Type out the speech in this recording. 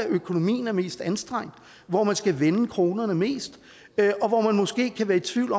økonomien er mest anstrengt hvor man skal vende kronerne mest og hvor man måske kan være i tvivl